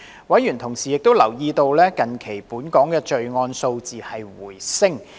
委員同時留意到，近期本港的罪案數字回升。